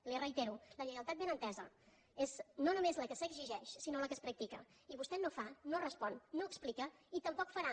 li ho reitero la lleialtat ben entesa és no només la que s’exigeix sinó la que es practica i vostè no fa no respon no explica i tampoc farà